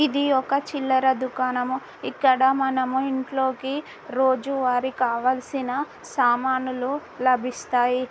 ఇది ఒక చిల్లర దుకాణము ఇక్కడ మనము ఇంట్లోకి రోజువారీ కావాల్సిన సామానులు లభిస్తాయి .